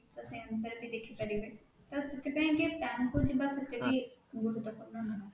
ତ ସେଇ ଅନୁସାରେ ରେ ବି ଦେଖିପାରିବେ ତ ସେଥିପାଇଁ କି bank କୁ ଯିବା ସେତେ ବି ଗୁରୁତ୍ୱପୂର୍ଣ ନୁହେଁ